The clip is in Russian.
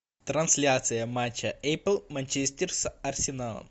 трансляция матча апл манчестер с арсеналом